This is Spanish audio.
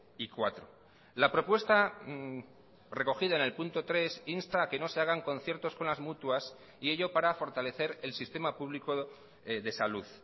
y cuatro la propuesta recogida en el punto tres insta a que no se hagan conciertos con las mutuas y ello para fortalecer el sistema público de salud